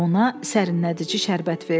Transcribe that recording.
Ona sərinlədici şərbət verdi.